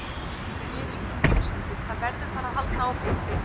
Þetta er enginn heimsendir, það verður bara að halda áfram.